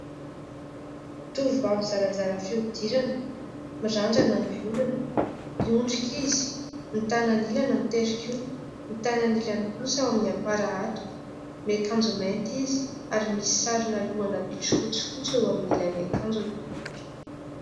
Tovovavy zarazara fihodirana, mirandrana ny volony, miondrika izy ; ny tanany ilany mitehin-kiho, ny tanany ilany kosa ao amin'ny am-para hatoka. Miakanjo mainty izy, ary misy sarina lohana bitro fotsifotsy eo amin'ny ilan'ny akanjony.